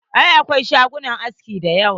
Eh, akwai shagunan aski da yawa.